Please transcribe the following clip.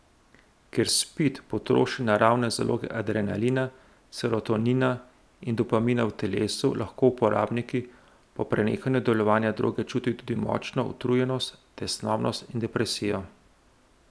Ker spid potroši naravne zaloge adrenalina, serotonina in dopamina v telesu, lahko uporabniki po prenehanju delovanja droge čutijo tudi močno utrujenost, tesnobnost in depresijo.